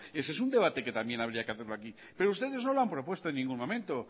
ese es un debate que también habría que hacerlo aquí pero ustedes no lo han propuesto en ningún momento